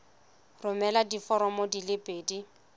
romela diforomo di le pedi